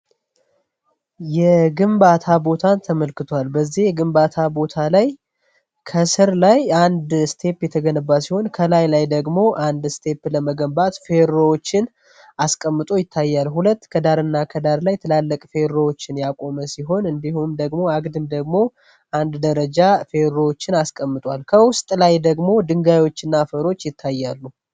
የግንባታ ቦታን ተመልክቷል። በዚህ ግንባታ ቦታ ላይ ከስር ላይ አንድ ስቴፕ የተገንባ ሲሆን ከላይ ላይ ደግሞ አንድ ስቴፕ ለመገንባት ፌሮዎችን አስቀምጦ ይታያሉ። ሁለት ከዳርእና ከዳር ላይ ትላለቅ ፌሮዎችን ያቆመ ሲሆን እንዲሁም ደግሞ አግድም ደግሞ አንድ ደረጃ ፌሮዎችን አስቀምጧል። ከውስጥ ላይ ደግሞ ድንጋዮችና ፈሮች ይታያሉ።